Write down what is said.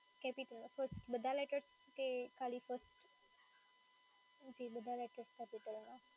બધા letters કે ખાલી first